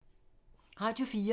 Radio 4